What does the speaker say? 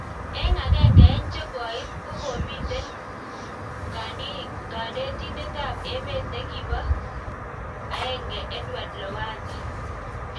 Eng agenge en chekoit ,kokomiten kanditet ap emet nekipa ngee Edward lowasssa